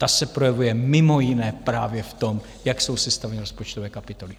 Ta se projevuje mimo jiné právě v tom, jak jsou sestaveny rozpočtové kapitoly.